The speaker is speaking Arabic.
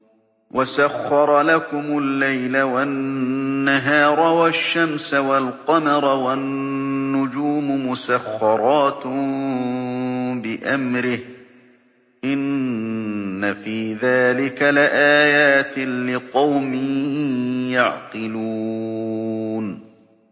وَسَخَّرَ لَكُمُ اللَّيْلَ وَالنَّهَارَ وَالشَّمْسَ وَالْقَمَرَ ۖ وَالنُّجُومُ مُسَخَّرَاتٌ بِأَمْرِهِ ۗ إِنَّ فِي ذَٰلِكَ لَآيَاتٍ لِّقَوْمٍ يَعْقِلُونَ